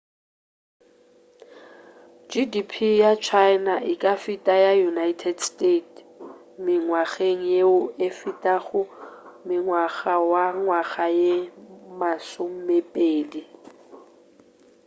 gdp ya china e ka feta ya united states mengwageng yeo e fetago mengwagangwaga ye masomepedi